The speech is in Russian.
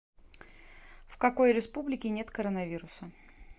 в какой республике нет коронавируса